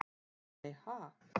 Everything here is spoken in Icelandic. Nei ha?